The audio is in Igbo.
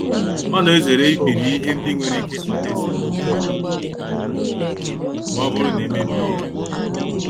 Ọ na-ezere ibiri ihe ndị nwere ike ịkpata esemokwu ma ọ bụrụ na e mebie ya.